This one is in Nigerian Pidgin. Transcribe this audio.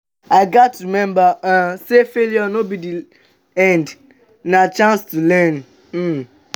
i gats remember um say failure no be the end; na chance to learn. um